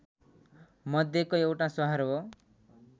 मध्येको एउटा सहर हो